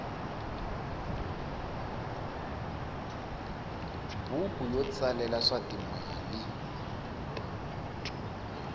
buku yo tsalela swa timali